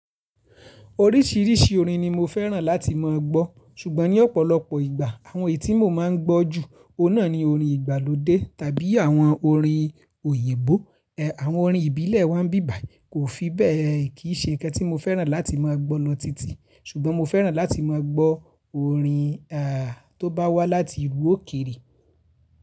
Oríṣìíríṣìí orin ni mo fẹ́ràn láti mọ̀ gbọ́ ṣùgbọ́n ní ọ̀pọ̀lọpọ̀ ìgbà àwọn ètí mo máa ń gbọ́ jù ọ̀nà ni orin ìgbàlódé tàbí àwọn orin òyìnbó. Awọn orin ìbílẹ̀ wọ́n bíbàyi kò fi bẹ́ẹ̀ kì í ṣe ǹkan tí mo fẹ́ràn láti mọ̀ gbọ́ lọ titi ṣùgbọ́n mo fẹ́ràn láti mọ̀ gbọ́ orin tó bá wá láti ìlú òkèrè.